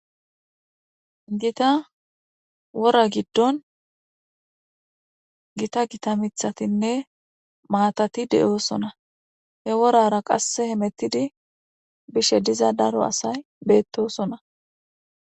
''Gitta wora gidon gita gita mithatinne maatati de'oosona.he worara qasse hemetidi bishe diza daro asay beetoosona.''